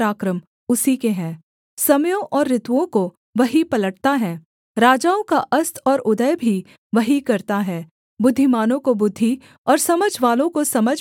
समयों और ऋतुओं को वही पलटता है राजाओं का अस्त और उदय भी वही करता है बुद्धिमानों को बुद्धि और समझवालों को समझ भी वही देता है